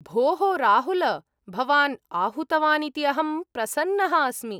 भोः राहुल! भवान् आहूतवान् इति अहं प्रसन्नः अस्मि।